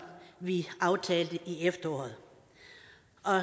vi aftalte i efteråret